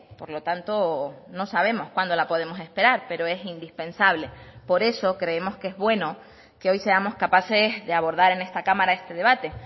por lo tanto no sabemos cuándo la podemos esperar pero es indispensable por eso creemos que es bueno que hoy seamos capaces de abordar en esta cámara este debate